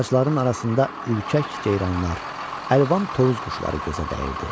Ağacların arasında ürkək ceyranlar, əlvan tovuz quşları gözə dəyirdi.